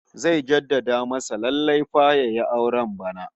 Zai jadda masa lallai fa yayi auren bana